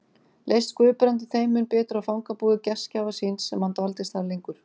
Leist Guðbrandi þeim mun betur á fangabúðir gestgjafa síns sem hann dvaldist þar lengur